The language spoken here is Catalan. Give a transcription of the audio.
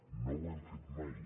no ho hem fet mai